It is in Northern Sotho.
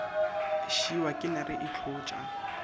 šiwa ke nare e hlotša